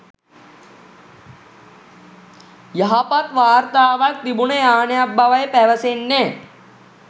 යහපත් වාර්තාවක් තිබුන යානයක් බවයි පැවසෙන්නේ